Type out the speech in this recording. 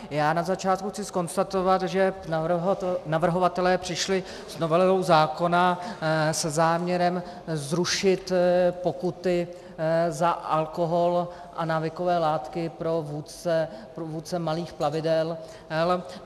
Já na začátku chci zkonstatovat, že navrhovatelé přišli s novelou zákona se záměrem zrušit pokuty za alkohol a návykové látky pro vůdce malých plavidel.